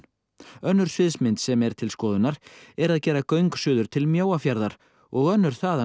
önnur sviðsmynd sem er til skoðunar er að gera göng suður til Mjóafjarðar og önnur þaðan